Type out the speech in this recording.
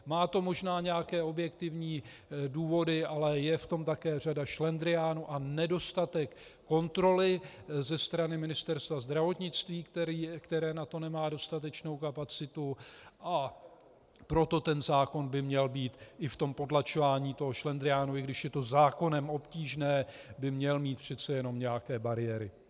Má to možná nějaké objektivní důvody, ale je v tom také řada šlendriánu a nedostatek kontroly ze strany Ministerstva zdravotnictví, které na to nemá dostatečnou kapacitu, a proto ten zákon by měl mít i v tom potlačování toho šlendriánu, i když je to zákonem obtížně, by měl mít přece jenom nějaké bariéry.